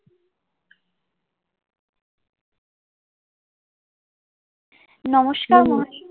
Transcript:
নমষ্কার, মহাশয়া।